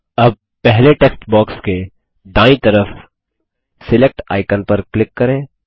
अब पहले text box के दायीं तरफ सिलेक्ट आइकन पर क्लिक करें